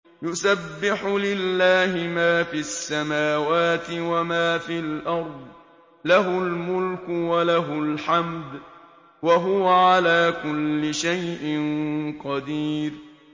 يُسَبِّحُ لِلَّهِ مَا فِي السَّمَاوَاتِ وَمَا فِي الْأَرْضِ ۖ لَهُ الْمُلْكُ وَلَهُ الْحَمْدُ ۖ وَهُوَ عَلَىٰ كُلِّ شَيْءٍ قَدِيرٌ